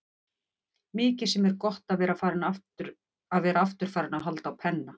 Mikið sem er gott að vera aftur farinn að halda á penna.